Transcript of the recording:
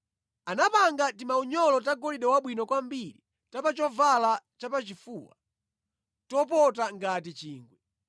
Anapanga timaunyolo tagolide wabwino kwambiri ta pa chovala chapachifuwa, topota ngati chingwe.